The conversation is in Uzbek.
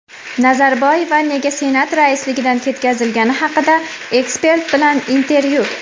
Nazarboeva nega senat raisligidan ketkazilgani haqida ekspert bilan intervyu.